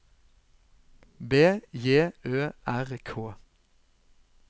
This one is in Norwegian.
B J Ø R K